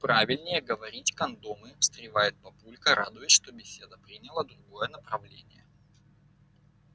правильнее говорить кондомы встревает папулька радуясь что беседа приняла другое направление